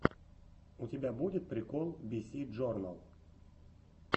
у тебя будет прикол биси джорнал